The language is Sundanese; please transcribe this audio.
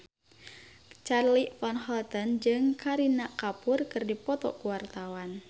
Charly Van Houten jeung Kareena Kapoor keur dipoto ku wartawan